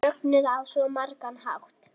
Mögnuð á svo margan hátt.